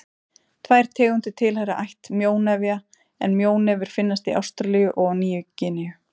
Tvær tegundir tilheyra ætt mjónefja en mjónefir finnast í Ástralíu og á Nýju-Gíneu.